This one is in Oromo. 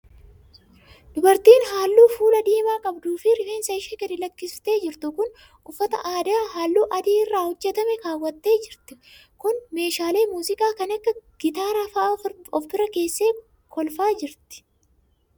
Dubartiin haalluu fuulaa diimaa qabduu fi rifeensa ishee gadi lakkistee jirtu kun, uffata aadaa haalluu adii irraa hojjatame kaawwattee jirtu kun, meeshaalee muuziqaa kan akka gitaaraa faa of bira keessee kolfaa jirti.